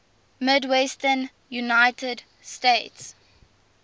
midwestern united states